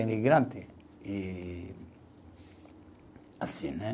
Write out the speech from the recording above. Imigrante e assim né